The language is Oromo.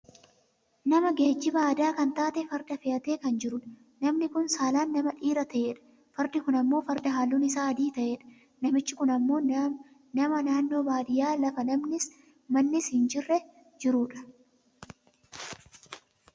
Nama geejjiba aadaa kan taate farda fe'atee kan jirudha. Namni kun saalaan nama dhiira ta'edha. Fardi kun ammoo Farda halluun isaa adii ta'edha. Namichi kun ammoo nama naannoo baadiyyaa lafa namnis mannis hin jirre jirudha.